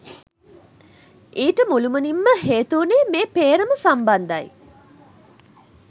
ඊට මුළුමනින් ම හේතු වුණේ මේ පේ්‍රම සම්බන්ධ යි